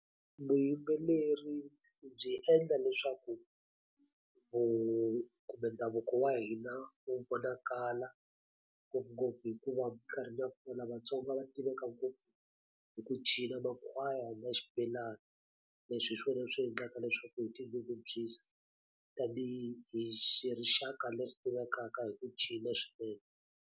Vuyimbeleri byi endla leswaku ndhavuko wa hina wu vonakala, ngopfungopfu hikuva minkarhini ya kwala vatsongo va tiveka ngopfu hi ku cina makhwaya na xibelani. Leswi hi swona leswi endlaka leswaku hi tinyungubyisa, tanihi hi rixaka leswi tivekaka hi ku cina swinene.